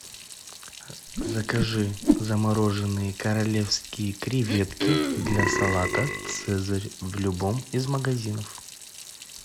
закажи замороженные королевские креветки для салата цезарь в любом из магазинов